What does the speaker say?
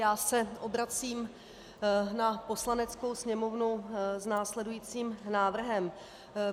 Já se obracím na Poslaneckou sněmovnu s následujícím návrhem.